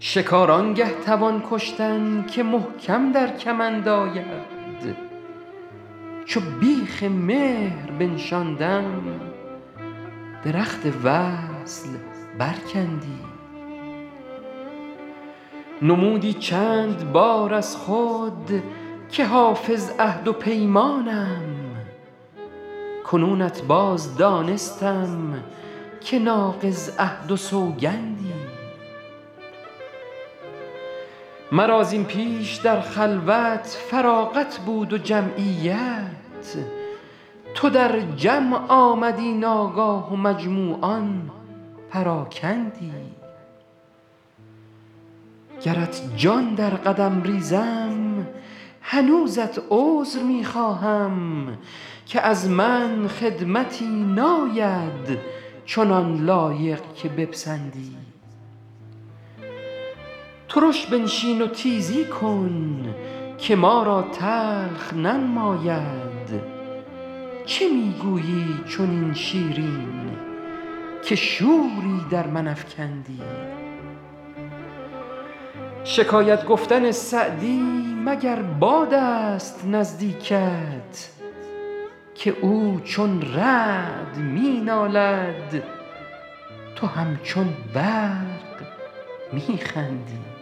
شکار آن گه توان کشتن که محکم در کمند آید چو بیخ مهر بنشاندم درخت وصل برکندی نمودی چند بار از خود که حافظ عهد و پیمانم کنونت باز دانستم که ناقض عهد و سوگندی مرا زین پیش در خلوت فراغت بود و جمعیت تو در جمع آمدی ناگاه و مجموعان پراکندی گرت جان در قدم ریزم هنوزت عذر می خواهم که از من خدمتی ناید چنان لایق که بپسندی ترش بنشین و تیزی کن که ما را تلخ ننماید چه می گویی چنین شیرین که شوری در من افکندی شکایت گفتن سعدی مگر باد است نزدیکت که او چون رعد می نالد تو همچون برق می خندی